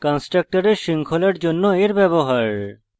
কন্সট্রকটরের শৃঙ্খলার জন্য এর ব্যবহার